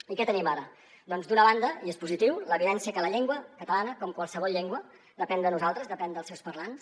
i què tenim ara doncs d’una banda i és positiu l’evidència que la llengua catalana com qualsevol llengua depèn de nosaltres depèn dels seus parlants